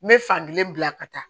N bɛ fankelen bila ka taa